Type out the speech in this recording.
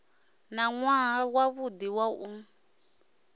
na nwaha wavhudi wa u